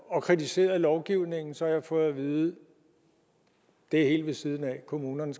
og kritiseret lovgivningen så har jeg fået at vide at det er helt ved siden af at kommunerne